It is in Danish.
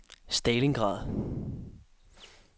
Stalingrad